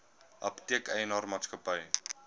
apteek eienaar maatskappy